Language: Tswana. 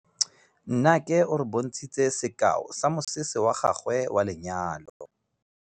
Nnake o re bontshitse sekaô sa mosese wa gagwe wa lenyalo.